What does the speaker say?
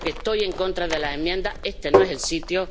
estoy en contra de las enmiendas este no es el sitio.